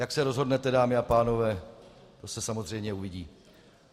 Jak se rozhodnete, dámy a pánové, to se samozřejmě uvidí.